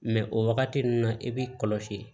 o wagati ninnu na i b'i kɔlɔsi